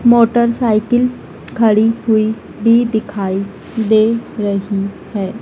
Motor cycle खड़ी हुई भी दिखाई दे रही है।